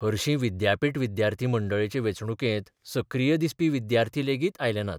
हरशीं विद्यापीठ विद्यार्थी मंडळाचे वेंचणुकेंत सक्रीय दिसपी विद्यार्थी लेगीत आयले नात.